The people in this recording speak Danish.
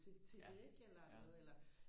til til det ikke eller noget eller